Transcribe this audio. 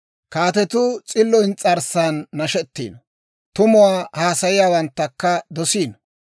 Kaatetuu s'illo ins's'arssan nashettiino; tumuwaa haasayiyaawanttakka dosiino.